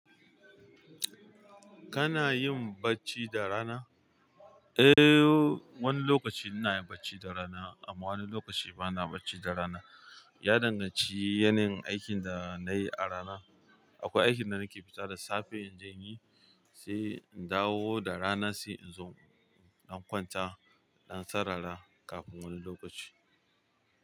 Kanayin bacci da rana, eh wani lokachi inayin bacci da rana amma wani lokachi bana bacci da rana. Ya danganci yanayin aikin da nayi a rana. Akwai aikin da nake fita da safe in je yi, sai in dawo da rana sai in zo in kwanta, in sarara kafin wani lokaci.